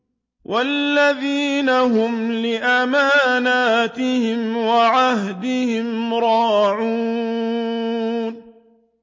وَالَّذِينَ هُمْ لِأَمَانَاتِهِمْ وَعَهْدِهِمْ رَاعُونَ